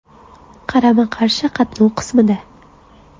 Qarama-qarshi qatnov qismida.